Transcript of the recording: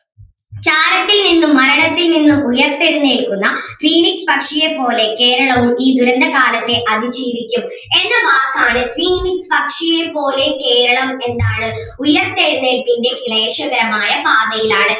ചാരത്തിൽ നിന്നും മരണത്തിൽ നിന്നും ഉയർത്തെഴുന്നേൽക്കുന്ന phoenix പക്ഷിയേ പോലെ കേരളവും ഈ ദുരന്ത കാലത്തെ അതിജീവിക്കും എന്ന വാക്കാണ് phoenix പക്ഷിയേ പോലെ കേരളം എന്താണ് ഉയിർത്തെഴുന്നേൽപ്പിൻ്റെ ക്ലേശകരമായ പാതയിലാണ്.